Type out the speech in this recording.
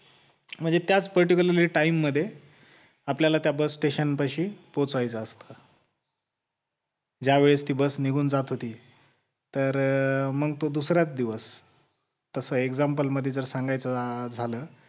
म्हणजे त्याच particular time मध्ये आपल्याला त्या bus station पाशी पोहोचायचं असतं ज्यावेळेस ती बस निघून जात होती तर मग तो दुसरा दिवस तसा example मध्ये जर सांगायचं झालं